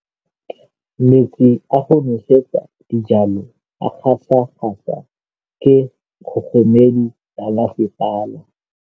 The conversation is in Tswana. Metsi a go nosetsa dijalo a gasa gasa ke kgogomedi ya masepala.